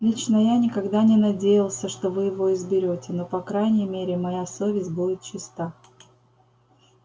лично я никогда не надеялся что вы его изберёте но по крайней мере моя совесть будет чиста